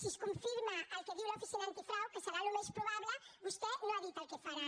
si es confirma el que diu l’oficina antifrau que serà el més probable vostè no ha dit el que faran